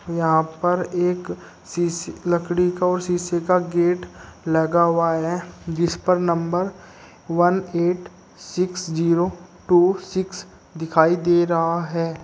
यहाँ पर एक शीश लकड़ी का और शीशे का गेट लगा हुआ है जिसपर number one eight six zero two six दिखाई दे रहा है।